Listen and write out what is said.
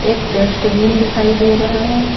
एक डस्टबिन दिखाई दे रहा है।